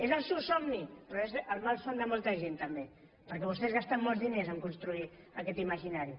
és el seu somni però és el malson de molta gent també perquè vostès gasten molts diners a construir aquest imaginari